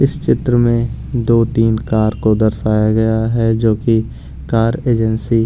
इस चित्र में दो-तीन कार को दर्शाया गया है जो कि कार एजेंसी --